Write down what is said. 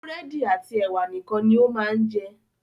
Búrẹ́dì àti ẹ̀wà nìkan ni ó máa ń jẹ.